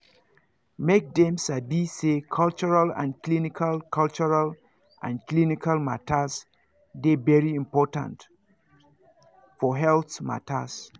make dem sabi say cultural and clinical cultural and clinical matters dey very important for healthcare matters